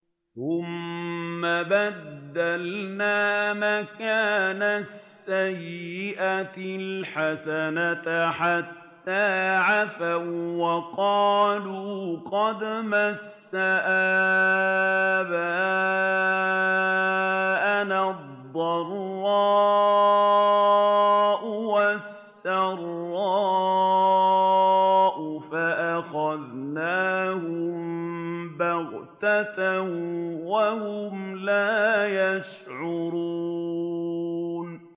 ثُمَّ بَدَّلْنَا مَكَانَ السَّيِّئَةِ الْحَسَنَةَ حَتَّىٰ عَفَوا وَّقَالُوا قَدْ مَسَّ آبَاءَنَا الضَّرَّاءُ وَالسَّرَّاءُ فَأَخَذْنَاهُم بَغْتَةً وَهُمْ لَا يَشْعُرُونَ